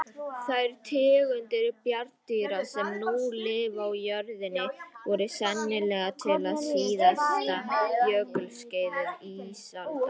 Þær tegundir bjarndýra sem nú lifa á jörðinni voru sennilega til á síðasta jökulskeiði ísaldar.